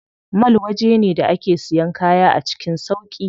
Mall waje ne da ake siyan kaya a cikin sauƙi.